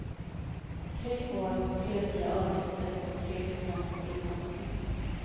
Tre år, tre nya avgifter och tre procent på inkomsten.